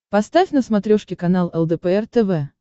поставь на смотрешке канал лдпр тв